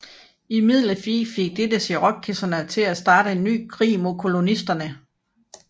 Imidlertid fik dette cherokeserne til at starte en ny krig mod kolonisterne